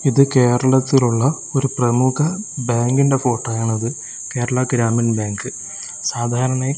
ഇത് കേരളത്തിലുള്ള ഒരു പ്രമുഖ ബാങ്കിൻ്റെ ഫോട്ടോയാണത് കേരള ഗ്രാമീൺ ബാങ്ക് സാധാരണയായി--